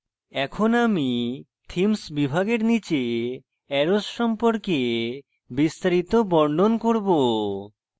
এখন আমি themes বিভাগের নীচে arrows সম্পর্কে বিস্তারিত বর্ণন করব